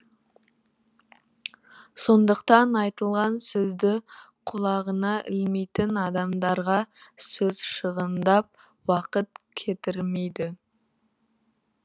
сондықтан айтылған сөзді құлағына ілмейтін адамдарға сөз шығындап уақыт кетірмейді